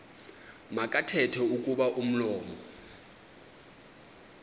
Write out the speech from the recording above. makathethe kuba umlomo